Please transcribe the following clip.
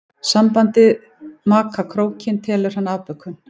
Sambandið maka krókinn telur hann afbökun.